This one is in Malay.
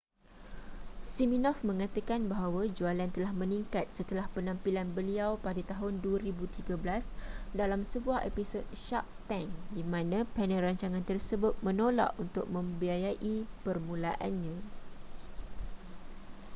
siminoff mengatakan bahawa jualan telah meningkat setelah penampilan beliau pada tahun 2013 dalam sebuah episod shark tank di mana panel rancangan tersebut menolak untuk membiayai permulaannya